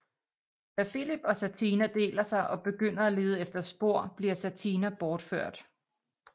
Da Filip og Satina deler sig og begynder at lede efter spor bliver Satina bortført